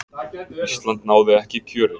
Ísland náði ekki kjöri.